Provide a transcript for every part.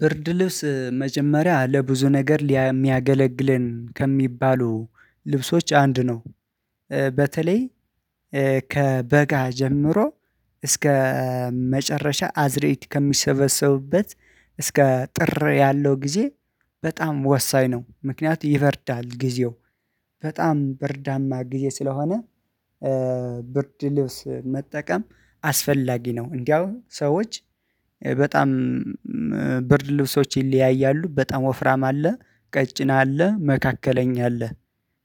ብርድ ልብስ መጀመሪያ ለብዙ ነገር የሚያገለግልን ከሚባሉ ልብሶች አንድ ነው በተለይ ከበጋ ጀምሮ እስከ መጨረሻ አዝእርት ከሚሰበሰቡበት እስከ ጥር ያለው ጊዜ በጣም ወሳኝ ነው። ምክንያቱም ይበርዳል ጊዜው በጣም ብርዳማ ጊዜ ስለሆነ ብርድ ልብስ መጠቀም አስፈላጊ ነው። እንዲያው ሰዎች በጣም ብርድ ልብሶች ይለያያሉ በጣም ወፍራም አለ ቀጭና አለ መካከለኛ አለ።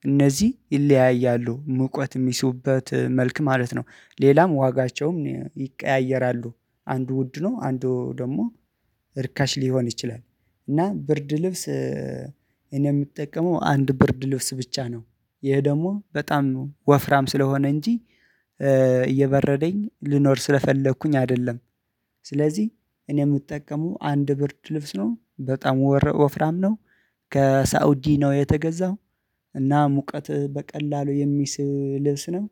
እነዚህ ይለያያሉ ሙቀት የሚስቡበት መልክ ማለት ነው። ሌላም ዋጋቸውም ይቀያየራሉ አንዱ ውድ ነው አንዱ ደግሞ እርካሽ ሊሆን ይችላል። እና ብርድ ልብስ እኔ የምጠቀመው አንድ ብርድ ልብስ ብቻ ነው። ይሄ ደግሞ በጣም ወፍራም ስለሆነ እንጂ እየበረደኝ ልኖር ስለፈለኩኝ አይደለም። ስለዚህ እኔ የምጠቀመው አንድ ብርድ ልብስ ነው በጣም ወፍራም ነው። ከሳውዲ ነው የተገዛው። እና ሙቀት በቀላሉ የሚስብ ልብስ ነው።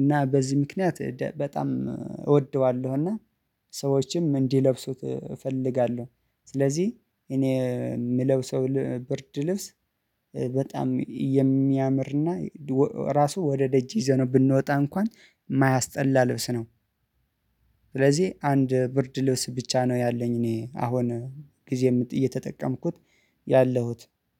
እና በዚህ ምክንያት በጣም እወደዋለሁ እና ሰዎችም እንዲለብሱት እፈልጋለሁ። ስለዚህ እኔ የምለብሰው ብርድ ልብስ በጣም የሚያምርና ራሱ ወደ ደጅ ይዘነው ብንወጣ እንኳን የማያስጠላ ልብስ ነው። ስለዚህ አንድ ብርድ ልብስ ብቻ ነው ያለኝ እኔ አሁን ጊዜ እየተጠቀምኩት ያለሁት